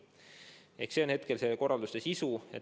Selline on hetkel korralduste sisu.